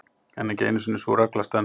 en ekki einu sinni sú regla stenst